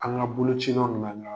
An ka bolocilaw ni an ka